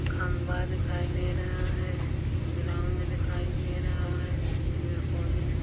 खंभा दिखाई दे रहा है ग्राउंड दिखाई दे रहा है पेड़ पौधे दिखाई --